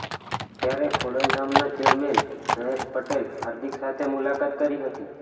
ત્યારે ખોડલધામના ચેરમેન નરેશ પટેલ હાર્દિક સાથે મુલાકાત કરી હતી